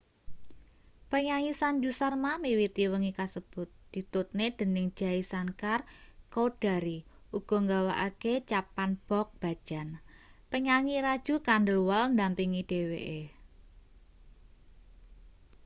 penyanyi sanju sharma miwiti wengi kasebut ditutne dening jai shankar choudhary uga nggawakake chhappan bhog bhajan penyanyi raju khandelwal ndampingi dheweke